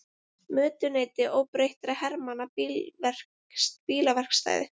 Mötuneyti óbreyttra hermanna bílaverkstæði.